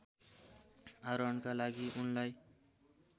आरोहणका लागि उनलाई